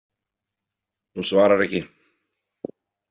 Hún svarar ekki.